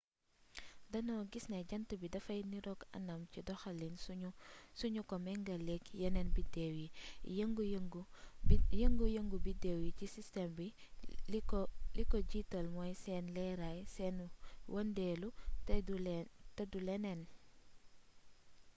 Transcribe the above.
danoo gis ne jànt bi dafay niroog anam ci doxalin sunu ko mengaleek yeneen bideew yi yëngu yëngu bideew yi ci sistem bi li ko jiital mooy seeni leeraay seeni wëndeelu te du leneen